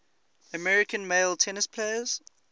american male tennis players